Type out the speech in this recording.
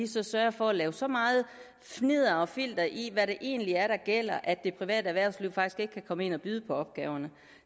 så sørger for at lave så meget fnidder og filter i hvad det egentlig er der gælder at det private erhvervsliv faktisk ikke kan komme ind og byde på opgaverne